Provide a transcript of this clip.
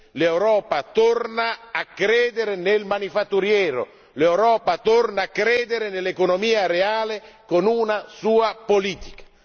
l'Europa torna a credere nel manifatturiero, l'Europa torna a credere nell'economia reale con una sua politica.